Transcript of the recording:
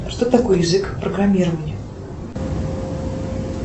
что такое язык программирования